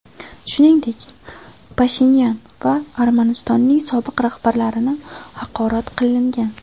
Shuningdek, Pashinyan va Armanistonning sobiq rahbarlarini haqorat qilingan.